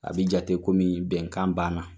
A bɛ jate kɔmi bɛnkan banna.